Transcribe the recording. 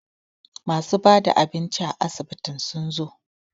masu bada abinci a asibitin sun zo